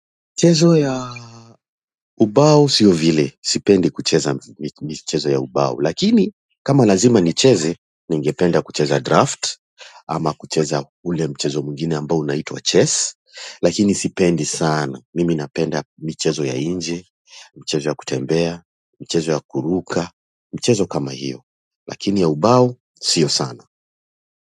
Mchezo ya. Ubao sio vile. Sipendi kucheza mchezo ya ubao. Lakini kama lazima nicheze, ningependa kucheza draft. Ama kucheza ule mchezo mwingine ambao unaitwa chess. Lakini sipendi sana. Mimi napenda mchezo ya nje. Mchezo ya kutembea. Mchezo ya kuruka. Mchezo kama hiyo. Lakini ya ubao si sana.